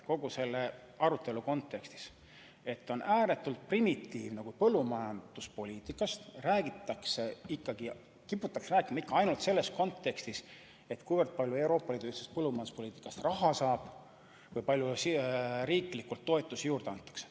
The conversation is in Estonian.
Kogu selle arutelu kontekstis on ääretult primitiivne, et kui põllumajanduspoliitikast juttu on, siis kiputakse rääkima ikka ainult selles kontekstis, kui palju Euroopa Liidu ühise põllumajanduspoliitika raames raha saab ja kui palju riigi toetusi juurde antakse.